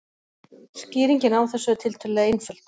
Skýringin á þessu er tiltölulega einföld.